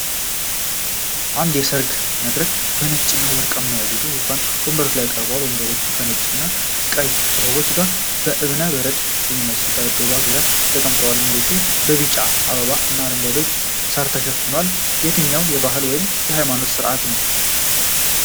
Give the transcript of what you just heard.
ንድ የሠርግ መድረክ በነጭና ወርቃማ ያጌጡ የዙፋን ወንበሮች ቀርበዋል፡፡ ወንበሮቹ ከነጭ እና ቀይ አበባዎች ጋር በእብነ በረድ በሚመስል ጠረጴዛ ዙሪያ ተቀምጠዋል፡፡ መሬቱም በቢጫ አበባዎች እና አረንጓዴ ሳር ተሸፍኗል፡፡ ለየትኛው የባህል ወይም ሃይማኖታዊ ሥርዓት ነው?